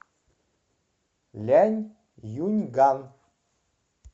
ляньюньган